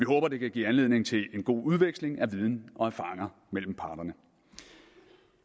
håber det kan give anledning til en god udveksling af viden og erfaringer mellem parterne